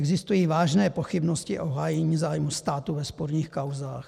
Existují vážné pochybnosti o hájení zájmu státu ve sporných kauzách.